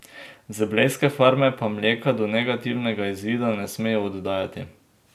Z blejske farme pa mleka do negativnega izvida ne smejo oddajati.